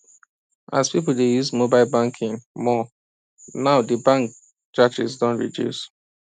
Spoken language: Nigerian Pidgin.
as people dey use mobile banking more now di bank charges don reduce